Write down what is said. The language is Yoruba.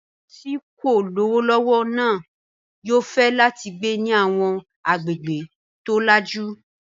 Àwọn tí wọn kò lówó lọ́wọ́ náà yóò fẹ́ láti gbé ní àwọn agbègbè tó lajú.